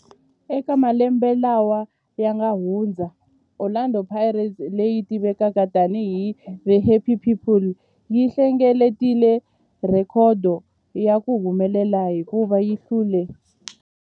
Eka malembe lawa yanga hundza, Orlando Pirates, leyi tivekaka tani hi 'The Happy People', yi hlengeletile rhekhodo ya ku humelela hikuva yi hlule